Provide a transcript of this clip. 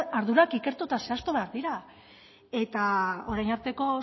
ardurak ikertu eta zehaztu behar dira eta orain arteko